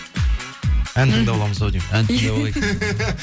ән тыңдап аламыз ау деймін ән тыңдап алайық